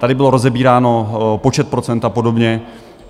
Tady bylo rozebíráno počet procent a podobně.